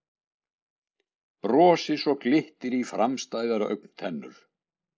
Brosi svo glittir í framstæðar augntennur.